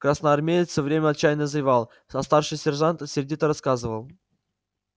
красноармеец всё время отчаянно зевал а старший сержант сердито рассказывал